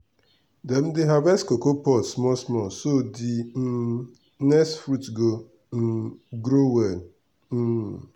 dem dey harvest cocoa pod small small so d um next fruit go um grow well. um